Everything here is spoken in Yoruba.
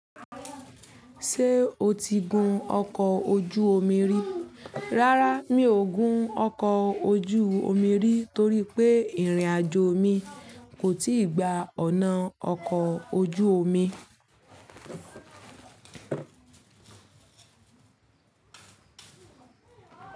Ṣé o ti gun ọkọ̀ ojú omi rí? Rárá, mi ò gun ọkọ̀ ojú omi rí torí pé ìrìnàjò mi kò tí ì gba ọ̀nà ọkọ̀ ojú omi.